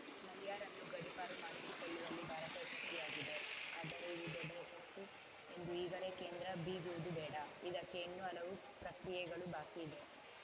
ಮಲ್ಯರನ್ನು ಗಡಿಪಾರು ಮಾಡಿಸಿಕೊಳ್ಳುವಲ್ಲಿ ಭಾರತ ಯಶಸ್ವಿಯಾಗಿದೆ ಆದರೆ ಇದು ದೊಡ್ಡ ಯಶಸ್ಸು ಎಂದು ಈಗಲೇ ಕೇಂದ್ರ ಬಿಗುವುದು ಬೇಡ ಇದಕ್ಕೆ ಇನ್ನೂ ಹಲವು ಪ್ರಕ್ರಿಯೆಗಳು ಬಾಕಿ ಇದೆ